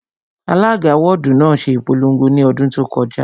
Alága wọ́ọ̀dù náà ṣe ìpolongo ní ọdún tó kọjá